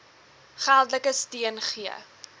geldelike steun gee